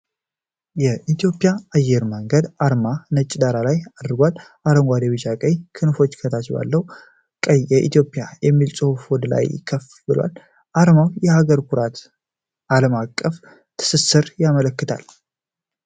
የኢትዮጵያ አየር መንገድ አርማ ነጭ ዳራ ላይ አርፏል። አረንጓዴ፣ ቢጫና ቀይ ክንፎች ከታች ባለው ቀይ "የኢትዮጵያ" በሚለው ጽሑፍ ላይ ወደላይ ከፍ ብለዋል። አርማው የሀገርን ኩራትና ዓለም አቀፍ ትስስር ያመለክታል።